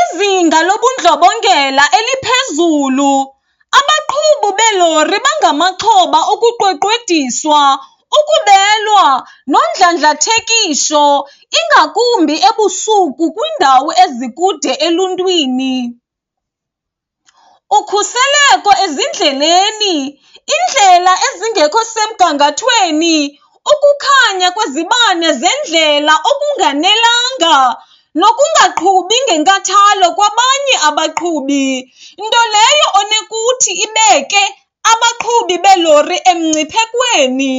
Izinga lobundlobongela eliphezulu, abaqhubi beelori bangamaxhoba okuqweqwediswa, ukubelwa nondlandlathekiso, ingakumbi ebusuku kwiindawo ezikude eluntwini. Ukhuseleko ezindleleni, iindlela ezingekho semgangathweni, ukukhanya kwezibane zendlela okunganelanga nokungaqhubi ngenkathalo kwabanye abaqhubi nto leyo onokuthi ibeke abaqhubi beelori emngciphekweni.